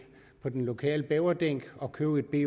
på den lokale beverding og købe et